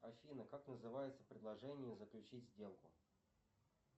афина как называется предложение заключить сделку